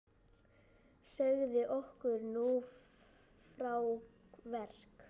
Segðu okkur nú frá verk